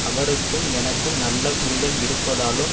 அவருக்கும் எனக்கும் நல்ல புரிதல் இருப்பதாலும்